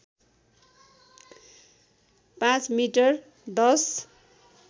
५ metre १०